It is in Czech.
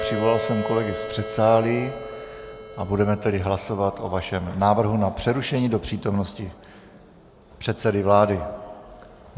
Přivolal jsem kolegy z předsálí a budeme tedy hlasovat o vašem návrhu na přerušení do přítomnosti předsedy vlády.